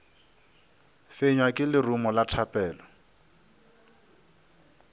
fenywa ke lerumo la thapelo